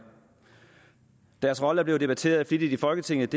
deres rolle er flittigt blevet debatteret i folketinget